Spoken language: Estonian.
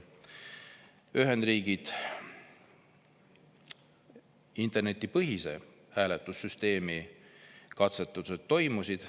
Ühendriikides internetipõhise hääletussüsteemi katsetused toimusid.